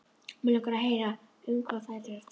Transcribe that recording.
Mig langar að heyra um hvað þær tala.